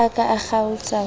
ha a ka kgaotsa ho